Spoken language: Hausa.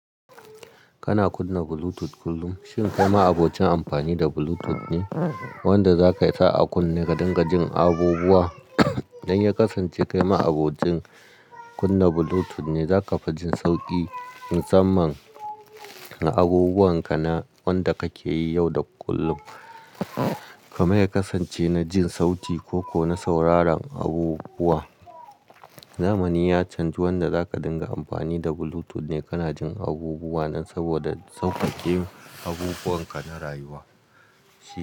Kana kunna Bluetooth kullum? Shin kai ma abocin ampani da Bluetooth ne wanda za ka sa a kunne ka dinga jin abubuwa? Dan ya kasance kai ma abocin kunna Bluetooth ne, za ka fi jin sauƙi musamman ga abubuwan ka na wanda ka ke yi yau da kullum. Kamai ya kasance na jin sauti ko ko na sauraran abubuwa. Zamani ya canji wanda za ka dinga ampani da Bluetooth ne kana jin abubuwa nan saboda sauƙaƙe abubuwan ka na rayuwa.